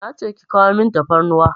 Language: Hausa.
Nace ki kawo min tafarnuwa